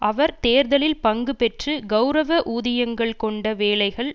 அவர் தேர்தலில் பங்கு பெற்று கெளரவ ஊதியங்கள் கொண்ட வேலைகள்